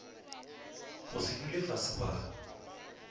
go se dule fase ba